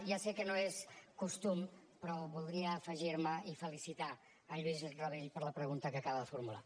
ja sé que no és costum però voldria afegir me i felicitar en lluís rabell per la pregunta que acaba de formular